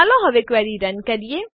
ચાલો query run કરીએ